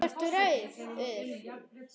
Þú ert rauður.